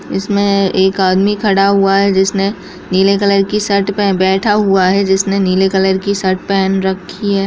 इसमें एक आदमी खड़ा हुआ है जिसने नीले कलर की शर्ट पे बैठा हुआ है जिसने नीले कलर की शर्ट पहन रखी है।